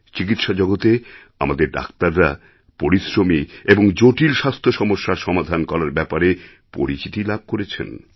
চিকিৎসা জগতে আমাদের ডাক্তাররা পরিশ্রমী এবং জটিল স্বাস্থ্যসমস্যার সমাধান করারব্যাপারে পরিচিতি লাভ করেছেন